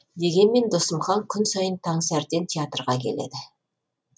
дегенмен досымхан күн сайын таңсәріден театрға келеді